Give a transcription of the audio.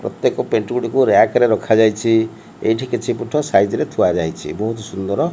ପ୍ରତ୍ୟେକ ପେଣ୍ଟ ଗୁଡିକୁ ରାୟକ ରଖା ଯାଇଚି ଏଠି କିଛି ବୁଟ ସାଇଜ ରେ ଥୁଆ ଯାଇଚି ବହୁତ ସୁନ୍ଦର --